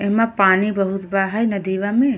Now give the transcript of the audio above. एमा पानी बहुत बा हइ नदीवा में।